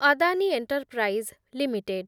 Adani enterprise limited